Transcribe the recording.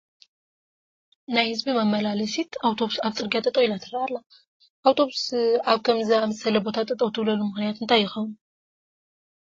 ናይ ህዝቢ መመላላሲት ኣውቶቡስ ኣብ ፅርጊያ ጠጠው ኢላ ትርአ ኣላ፡፡ ኣውቶቡስ ኣብ ከምዚ ዝኣምሰለ ቦታ ጠጠው ትብለሉ ምኽንያት እንታይ ይኸውን?